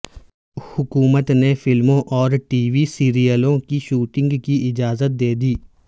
حکومت نے فلموں اور ٹی وی سیریلوں کی شوٹنگ کی اجازت دے دی